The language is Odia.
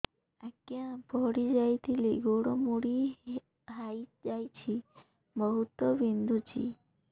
ଆଜ୍ଞା ପଡିଯାଇଥିଲି ଗୋଡ଼ ମୋଡ଼ି ହାଇଯାଇଛି ବହୁତ ବିନ୍ଧୁଛି